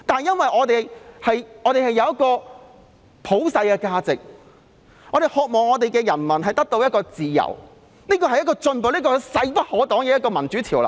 可是，我們擁有普世價值，我們渴望人民可以得到自由，這便是進步，也是勢不可擋的民主潮流。